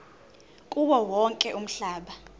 kuwo wonke umhlaba